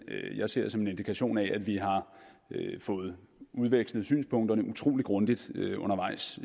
jeg ser som en indikation af at vi har fået udvekslet synspunkterne utrolig grundigt undervejs